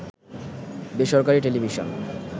বেসরকারি টেলিভিশন